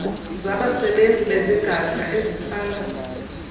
zabasebenzi bezigadla ezitsala